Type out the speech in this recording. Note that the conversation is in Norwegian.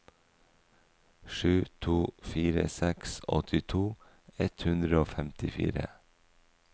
sju to fire seks åttito ett hundre og femtifire